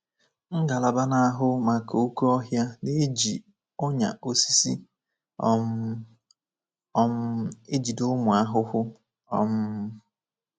Ngalaba na-ahụ maka oké ọhịa na-eji “ọnyà osisi um ” um ejide ụmụ ahụhụ. um